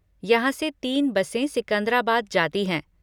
यहाँ से तीन बसें सिकंद्राबाद जाती हैं।